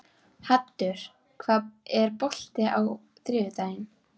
Haddur, er bolti á þriðjudaginn?